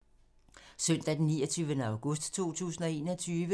Søndag d. 29. august 2021